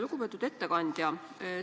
Lugupeetud ettekandja!